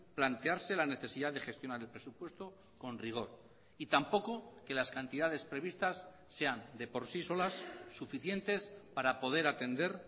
plantearse la necesidad de gestionar el presupuesto con rigor y tampoco que las cantidades previstas sean de por sí solas suficientes para poder atender